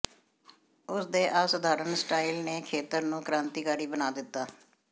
ਉਸ ਦੇ ਅਸਾਧਾਰਨ ਸਟਾਈਲ ਨੇ ਖੇਤਰ ਨੂੰ ਕ੍ਰਾਂਤੀਕਾਰੀ ਬਣਾ ਦਿੱਤਾ